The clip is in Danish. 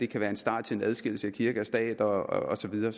kan være en start til en adskillelse af kirke og stat og så videre